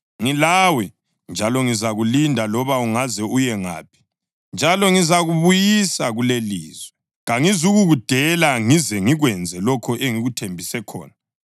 Ngilawe njalo ngizakulinda loba ungaze uye ngaphi, njalo ngizakubuyisa kulelilizwe. Kangizukukudela ngize ngikwenze lokho engikuthembise khona.”